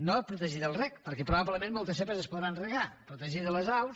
no de protegir del reg perquè probablement moltes zepa es podran regar protegir de les aus